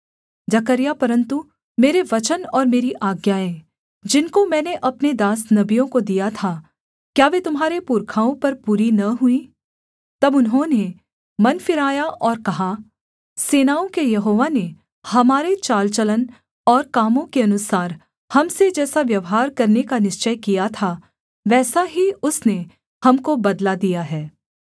परन्तु मेरे वचन और मेरी आज्ञाएँ जिनको मैंने अपने दास नबियों को दिया था क्या वे तुम्हारे पुरखाओं पर पूरी न हुईं तब उन्होंने मन फिराया और कहा सेनाओं के यहोवा ने हमारे चाल चलन और कामों के अनुसार हम से जैसा व्यवहार करने का निश्‍चय किया था वैसा ही उसने हमको बदला दिया है